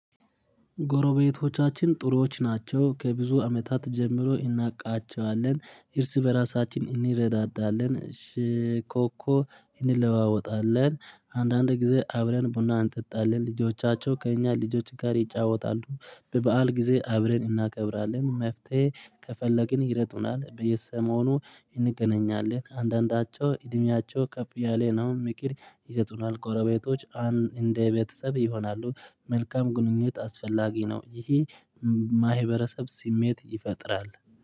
ጎረቤቶቻችን ጥሩዎች ናቸው። ከብዙ አመታት ጀምሮ እናቃቸዋለን እርስ በራሳችን እንረዳዳለን እሺ ኮኮ እንለዋወጣለን አንዳንድ ጊዜ አብረን ቡና እንጠጣለን ልጆቻቸው ከእኛ ልጆች ጋር ይጫወታሉ። በበዓል ጊዜ አብረን እናከብራለን መፍትሄ ከፈለግን ይረጡናል በየሰሞኑ እንገናኛለን። አንዳንዳቸው እድሜያቸው ከፍ አያለ ነው ምክር ይሰጡናል ጎሮቤቶች አን እንደ ቤተሰብ ይሆናሉ። መልካም ግንኙነት አስፈላጊ ነው ይሄ ማህበረሰብ ስሜት ይፈጥራል።